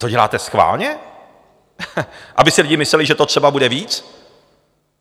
To děláte schválně, aby si lidi mysleli, že to třeba bude víc?